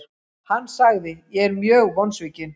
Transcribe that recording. Hann sagði:, Ég er mjög vonsvikinn.